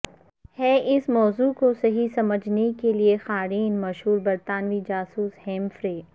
ہیں اس موضوع کو صحیح سمجھنے کے لئے قارئین مشہور برطانوی جاسوس ہیمفرے